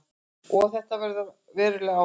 En þetta hefur veruleg áhrif.